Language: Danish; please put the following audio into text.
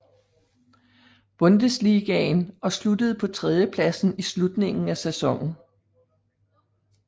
Bundesligaen og sluttede på tredjepladsen i slutningen af sæsonen